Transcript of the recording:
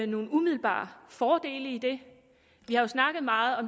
nogle umiddelbare fordele i det vi har snakket meget om